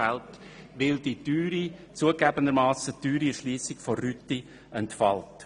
Dies, weil die zugegeben teure Erschliessung der Rüti entfällt.